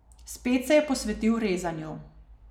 Spet se je posvetil rezanju.